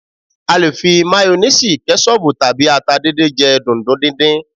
A lè fi mayoníìsì, kẹ́ṣọbù tàbí ata dídín jẹ́ dùndún dídín